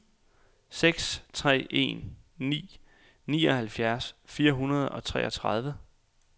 seks tre en ni nioghalvfjerds fire hundrede og treogtredive